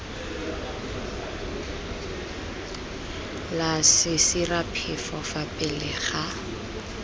la sesiraphefo fa pele ga